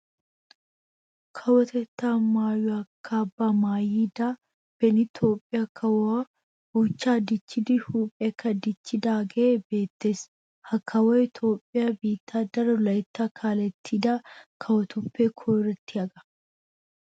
Kawotettaa maayuwa kaabbaa maayida beni Toophphiya kawoy buchchaa dicchidi huuphphiyakka dichcchidaagee beettees. Ha kawoy Toophphiya biittaa daro layttaa kaalettida kawotuppe koyrottiyagaa.